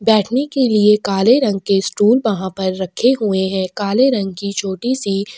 बैठने के लिए काले रंग के स्टूल वहाँ पर रखे हुए है काले रंग की छोटी -सी --